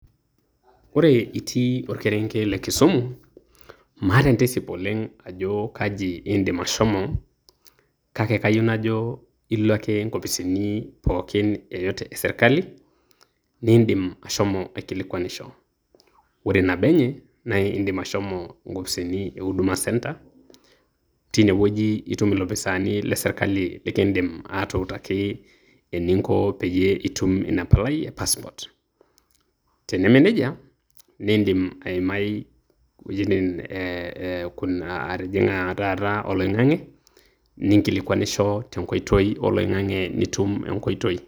Ore itii orkerenket le Kisumu, maata entisip oleng' ajo kaji iidim ashomo. Kake kayieu najo ilo ake inkopisini pookin yoyote esirkali, niidim ashomo aikilikwanisho. Ore nabo enye, na iidim ashomo inkopisini e huduma centre ,teinewueji itum ilopisaani le sirkali likiidim atuutaki eninko peyie itum inapalai e passport. Tenemeneja, niidim aimai iwuejiting eh kuna atijing'a ah taata oloing'ang'e, ninkilikwanisho tenkoitoi oloing'ang'e nitum enkoitoi.